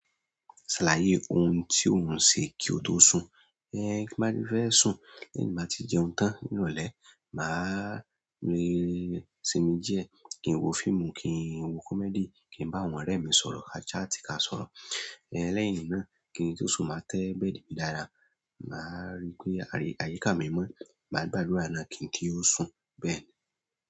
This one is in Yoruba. Ṣàlàyé oun tí òun ń ṣe kí o tó sùn. Ẹ̀n tí n bá ti fẹ́ sùn lẹ́yìn tí n bá ti jẹun tán, ní ìrọ̀lẹ́ máa le sinmi díẹ̀, kí n wo fíìmù, kí n wo comedy, kí n bá àwọn ọ̀rẹ́ mi sọ̀rọ̀, ka chat ka sọ̀rọ̀. Ẹ̀n lẹ́yìn náà kí n tó sùn máa tẹ́ bẹ́ẹ̀dì mi dára, máa rí pé àyíká mi mọ́, máa gbàdúrà náà kí n kí ó sùn bẹ́ẹ̀ni.